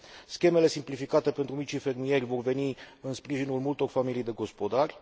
Schemele simplificate pentru micii fermieri vor veni în sprijinul multor familii de gospodari.